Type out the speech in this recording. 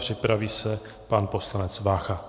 Připraví se pan poslanec Vácha.